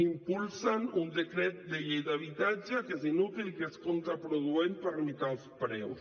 impulsen un decret de llei d’habitatge que és inútil que és contraproduent per limitar els preus